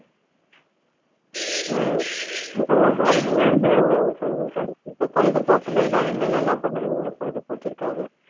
ஹம் மிகவும் அருமையாக சொன்னீர்கள் இப்ப பொழுது போக்கிலலாம் என்னென்னல்லாம் பண்ணுவீங்க பொழுது போக்கிற்காக?